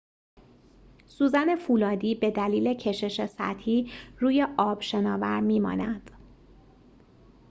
سوزن فولادی به دلیل کشش سطحی روی آب شناور می‌ماند